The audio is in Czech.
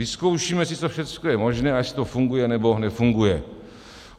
Vyzkoušíme si, co všechno je možné a jestli to funguje, nebo nefunguje.